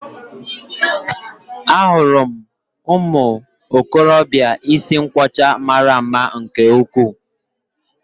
Ahụrụ m ụmụ okorobịa isi nkwọcha mara mma nke ukwuu